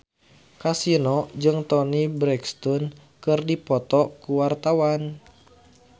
Kasino jeung Toni Brexton keur dipoto ku wartawan